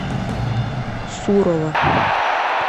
сурова